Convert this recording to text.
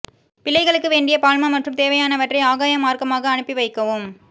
பிள்ளைகளுக்கு வேண்டிய பால்மா மற்றும் தேவையானவற்றை ஆகாயமார்க்கமாக அனுப்பி வைக்கவும்